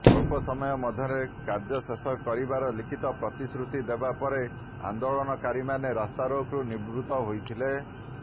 ସ୍ୱଳ୍ପ ସମୟ ମଧ୍ୟରେ କାର୍ଯ୍ୟ ଶେଷ କରିବାର ଲିଖିତ ପ୍ରତିଶ୍ରୁତି ଦେବା ପରେ ଆନେ୍ଦାଳନକାରୀମାନେ ରାସ୍ତାରୋକରୁ ନିବୃତ ହୋଇଥିଲେ